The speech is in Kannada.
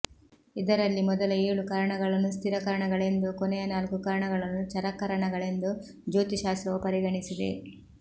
ಇದರಲ್ಲಿ ಮೊದಲ ಏಳು ಕರಣಗಳನ್ನು ಸ್ಥಿರಕರಣಗಳೆಂದೂ ಕೊನೆಯ ನಾಲ್ಕು ಕರಣಗಳನ್ನು ಚರಕರಣಗಳೆಂದೂ ಜ್ಯೋತಿಶ್ಶಾಸ್ತ್ರವು ಪರಿಗಣಿಸಿದೆ